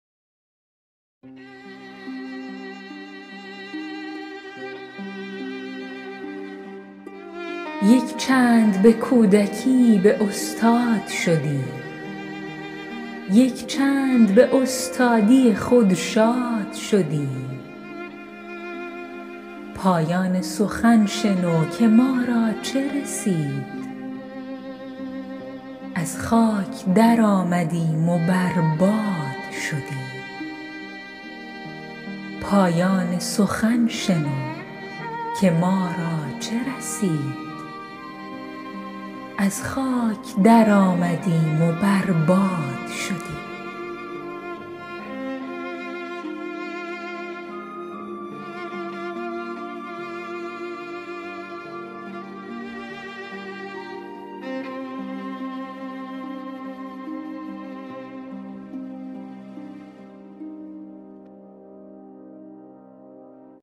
یک چند به کودکی به استاد شدیم یک چند به استادی خود شاد شدیم پایان سخن شنو که ما را چه رسید از خاک در آمدیم و بر باد شدیم